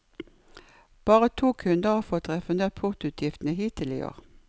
Bare to kunder har fått refundert portoutgiftene hittil i år.